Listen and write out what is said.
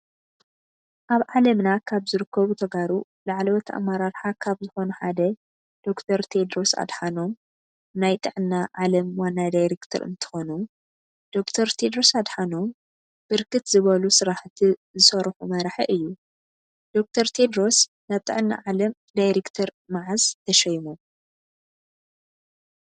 አብ ዓለምና ካብ ዝርከቡ ተጋሩ ላዕለወተ አመራራሓ ካብ ዝኮኑ ሓደ ዶክተር ቴድሮስ አድሓኖም ናይ ጥዕና ዓለም ዋና ዳሬከተር እንትኮኑ ዶክተር ቴድሮስ አድሓኖም ብርክት ዝበሉ ስራሐቲ ዝሰሩሑ መራሒ እዩ። ዶክተር ቴድሮስ ናብ ጥዕና ዓለም ዳሪክተር መዓዝ ተሾይሞም?